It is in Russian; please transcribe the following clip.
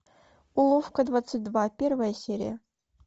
уловка двадцать два первая серия